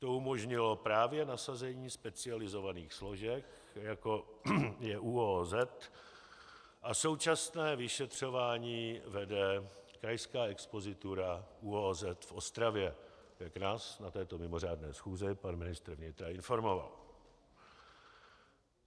To umožnilo právě nasazení specializovaných složek, jako je ÚOOZ, a současné vyšetřování vede Krajská expozitura ÚOOZ v Ostravě, jak nás na této mimořádné schůzi pan ministr vnitra informoval.